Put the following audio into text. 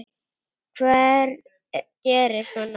Hver gerir svona?